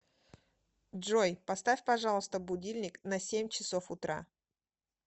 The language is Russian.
джой поставь пожалуйста будильник на семь часов утра